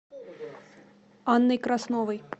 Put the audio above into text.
анной красновой